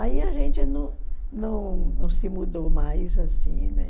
Aí a gente não não não se mudou mais assim, né?